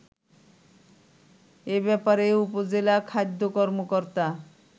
এ ব্যপারে উপজেলা খাদ্য কর্মকর্তা